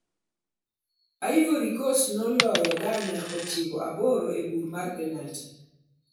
Ivory Coast ne oloyo Ghana ochiko aboro e bura mar penalty.